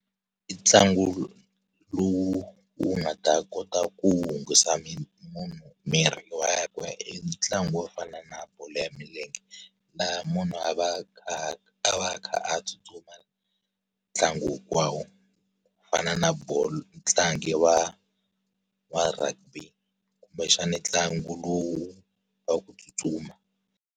I ntlangu lowu wu nga ta kota ku hunguta munhu mirhi lowa ya ku ya i ntlangu wo fana na bolo ya milenge. Laha munhu a va a kha a va kha a tsutsuma, ntlangu hinkwawo. Ku fana na muntlangi wa wa rugby kumbexana ntlangu lowu, wa ku tsutsuma.